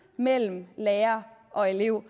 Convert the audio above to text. mellem lærer og elev